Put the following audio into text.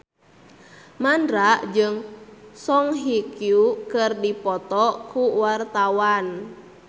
Mandra jeung Song Hye Kyo keur dipoto ku wartawan